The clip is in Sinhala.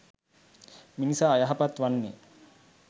මිනිසා අයහපත් වන්නේ